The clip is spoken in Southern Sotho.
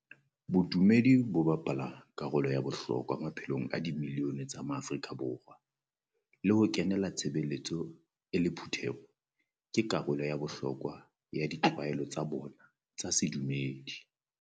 Bodumedi bo bapala karolo ya bohlokwa maphelong a di milione tsa maAfrika Borwa, le ho kenela tshebeletso e le phutheho ke ka karolo ya bohlokwa ya ditlwaelo tsa bona tsa bodumedi.